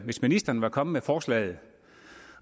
hvis ministeren var kommet med forslaget